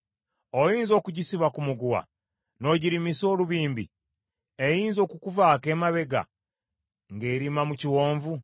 Oyinza okugisiba ku muguwa n’ogirimisa olubimbi? Eyinza okukuvaako emabega ng’erima mu kiwonvu.